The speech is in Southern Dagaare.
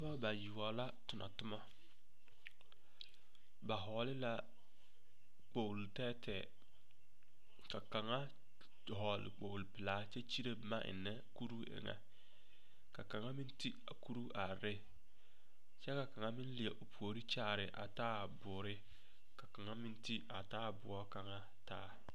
Pɔgebɔ bayoɔbo la tona toma ba vɔgle la kpogelo tɛɛtɛɛ ka kaŋa dɔgle kpogre pelaa kyɛ kyire boma ennɛ kuruu eŋɛ ka kaŋa meŋ ti a kuruu are ne kyɛ ka meŋ leɛ o puori kyaare a taaboore kaŋa meŋ ti a taaboo kaŋa taa.